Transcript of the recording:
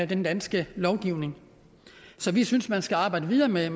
den danske lovgivning så vi synes man skal arbejde videre med